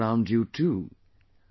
Inform those around you too